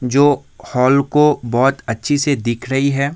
जो हॉल को बहुत अच्छी से दिख रही है।